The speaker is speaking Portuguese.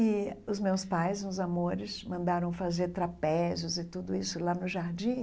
E os meus pais, uns amores, mandaram fazer trapézios e tudo isso lá no jardim.